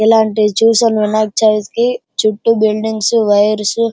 ఇలాంటివి చూసాము వినాయక చవితి కి చుట్టూ బిల్డింగ్స్ వైర్సు --